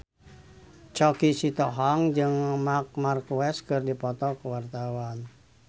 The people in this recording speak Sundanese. Choky Sitohang jeung Marc Marquez keur dipoto ku wartawan